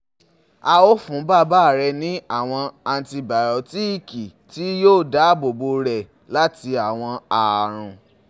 A o fun baba rẹ ni awọn antibiyotiki ti yoo daabobo rẹ lati awọn àrùn